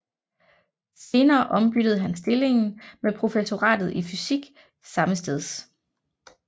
Senere ombyttede han stillingen med professoratet i fysik sammesteds